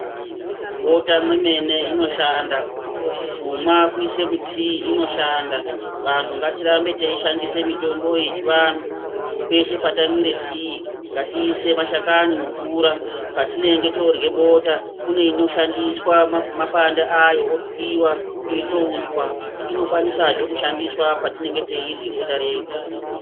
Mubota mwemene inoshanda , kumwa kuisa mutii inoshanda. Vantu ngatirambei teishandisa mitombo yechiandu peshe patamwira tii ngatiise mashakani mumvura patinenge torwe bota kune inoshandiswa mapanda ayo, otwiwa oita uswa, inokwanisa hee kushandandiswa patinenge teirwa bota redu.